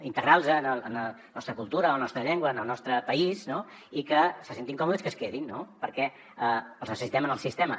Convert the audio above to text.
d’integrar los en la nostra cultura la nostra llengua en el nostre país no i que se sentin còmodes i que es quedin no perquè els necessitem en el sistema